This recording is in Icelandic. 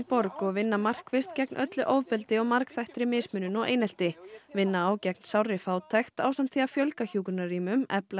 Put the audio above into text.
borg og vinna markvisst gegn öllu ofbeldi og margþættri mismunun og einelti vinna á gegn sárri fátækt ásamt því að fjölga hjúkrunarrýmum efla